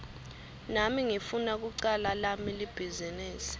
nami ngifuna kucala lami libhizinisi